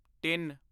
ਤਿੱਨ